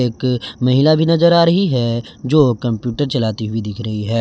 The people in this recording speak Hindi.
एक महिला भी नजर आ रही है जो कंप्यूटर चलती हुई दिख रही है।